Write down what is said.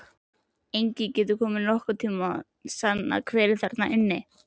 Enginn getur nokkurn tíma sannað hver var þarna inni!